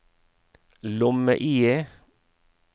lomme-IE